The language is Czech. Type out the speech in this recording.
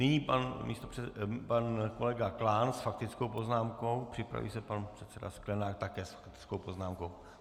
Nyní pan kolega Klán s faktickou poznámkou, připraví se pan předseda Sklenák také s faktickou poznámkou.